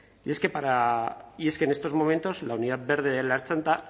y es que en estos momentos la unidad verde de la ertzaintza